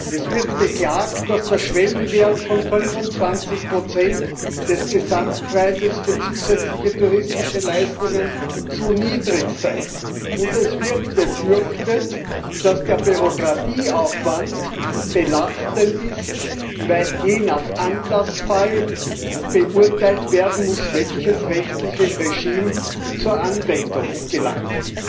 Es wird beklagt, dass der Schwellenwert von 25 des Gesamtpreises für zusätzliche touristische Leistungen zu niedrig sei, und es wird befürchtet, dass der Bürokratieaufwand belastend ist, weil je nach Anlassfall beurteilt werden muss, welches rechtliche Regime zur Anwendung gelangt.